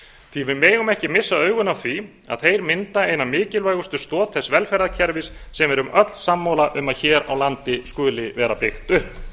því við megum ekki missa augun af því að þeir mynda eina mikilvægustu stoð þess velferðarkerfis sem við erum öll sammála um að hér á landi skuli vera byggt upp